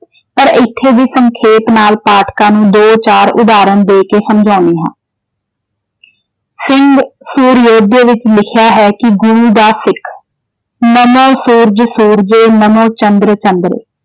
ਪਰ ਇੱਥੇ ਵੀ ਸੰਖੇਪ ਨਾਲ ਪਾਠਕਾਂ ਨੂੰ ਦੋ ਚਾਰ ਉਦਾਹਰਣ ਦੇ ਕੇ ਸਮਝਾਉਣੀ ਹਾਂ, ਸਿੰਘ ਸੂਰਯੋਧੇ ਵਿੱਚ ਲਿਖਿਆ ਹੈ ਕਿ ਗੁਰੂ ਦਾ ਸਿੱਖ ਨਮੋ ਸੂਰਜ ਸੂਰਜੇ ਨਮੋ ਚੰਦ੍ਰ ਚੰਦ੍ਰੇ।